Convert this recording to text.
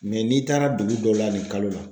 n'i taara dugu dɔw la nin kalo la.